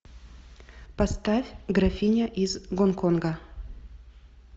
поставь графиня из гонконга